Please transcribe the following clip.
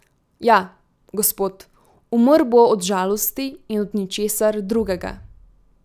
Ja, gospod, umrl bo od žalosti in od ničesar drugega.